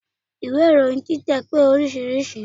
Ìwé ìròyin títẹ̀ pé oríṣiríṣi.